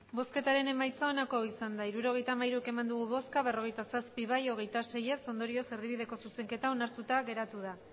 emandako botoak hirurogeita hamairu bai berrogeita zazpi ez hogeita sei ondorioz erdibideko zuzenketa onartuta geratu da